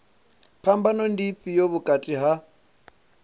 phambano ndi ifhio vhukati ha